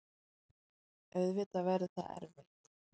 Auðvitað verður það erfitt.